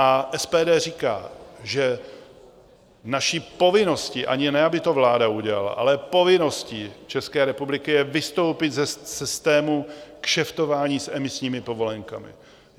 A SPD říká, že naší povinností - ani ne aby to vláda udělala - ale povinností České republiky je vystoupit ze systému kšeftování s emisními povolenkami.